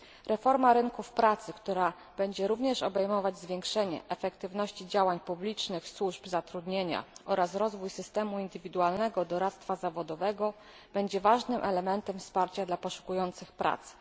Reforma rynków pracy, która będzie również obejmować zwiększenie efektywności działań publicznych służb zatrudnienia oraz rozwój systemu indywidualnego doradztwa zawodowego, będzie ważnym elementem wsparcia dla poszukujących pracy.